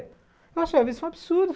Eu achei isso um absurdo.